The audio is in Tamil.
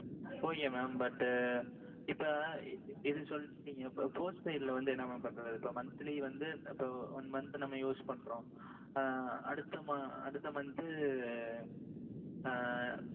okay mam but இப்போ இது சொல்லிடீங்க அப்போ postpaid வந்து என்ன mam பண்றது. இப்போ monthly வந்து இப்போ one month நாம use பண்றோம் அஅ அடுத்த அடுத்த month அஅ